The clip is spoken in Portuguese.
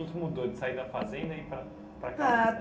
O que é que mudou de sair da fazenda e ir para para